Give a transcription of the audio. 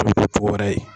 wɛrɛ ye